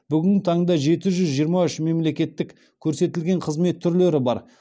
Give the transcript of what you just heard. бүгінгі таңда жеті жүз жиырма үш мемлекеттік көрсетілген қызмет түрлері бар